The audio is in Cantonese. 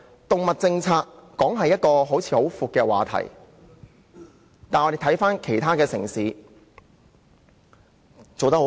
動物政策雖然是個很廣闊的議題，但其他城市是做得很好的。